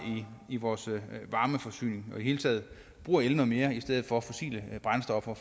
i vores varmeforsyning og i det hele taget bruger el noget mere i stedet for fossile brændstoffer